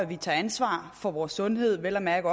vi tager ansvar for vores sundhed og vel at mærke